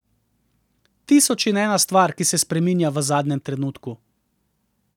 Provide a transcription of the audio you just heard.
Tisoč in ena stvar, ki se spreminja v zadnjem trenutku.